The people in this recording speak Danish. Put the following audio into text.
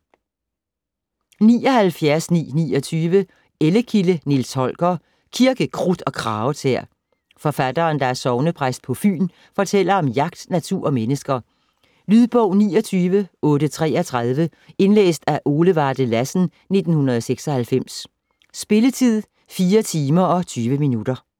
79.929 Ellekilde, Nils Holger: Kirke, krudt og kragetæer Forfatteren, der er sognepræst på Fyn, fortæller om jagt, natur og mennesker. Lydbog 29833 Indlæst af Ole Varde Lassen, 1996. Spilletid: 4 timer, 20 minutter.